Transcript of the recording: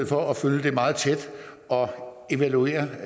for at følge det meget tæt og evaluere